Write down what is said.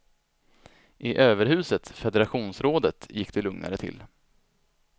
I överhuset, federationsrådet, gick det lugnare till.